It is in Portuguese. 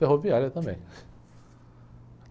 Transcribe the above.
Ferroviária também.